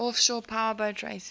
offshore powerboat racing